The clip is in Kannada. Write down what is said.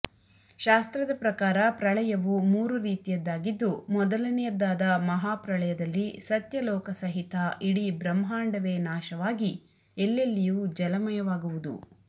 ಶಾಸ್ತ್ರದ ಪ್ರಕಾರ ಪ್ರಳಯವು ಮೂರೂ ರೀತಿಯದ್ದಾಗಿದ್ದು ಮೊದಲನೆಯದ್ದಾದ ಮಹಾಪ್ರಳಯದಲ್ಲಿ ಸತ್ಯಲೋಕ ಸಹಿತ ಇಡೀ ಬ್ರಹ್ಮಾಂಡವೇ ನಾಶವಾಗಿ ಎಲ್ಲೆಲ್ಲಿಯೂ ಜಲಮಯವಾಗುವುದು